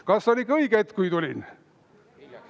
Kas on ikka õige hetk, kui tulin?